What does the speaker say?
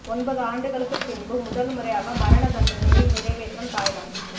ஒன்பது ஆண்டுகளுக்குப் பின்பு முதல் முறையாக மரண தண்டனையை நிறைவேற்றும் தாய்லாந்து